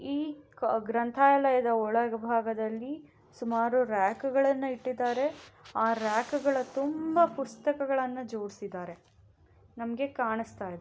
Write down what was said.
ಈ ಗ್ರಂಥಾಲಯದ ಒಳಭಾಗದಲ್ಲಿ ಸುಮಾರು ರ್ಯಾಕು ಗಳನ್ನು ಇಟ್ಟಿದ್ದಾರೆ ಆ ರ್ಯಾಕು ಗಳ ತುಂಬಾ ಪುಸ್ತಕಗಳನ್ನು ಜೋಡಿಸಿದ್ದಾರೆ ನಮ್ಗೆ ಕಾಣಸ್ತಾ ಇದೆ.